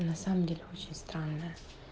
на самом деле очень странная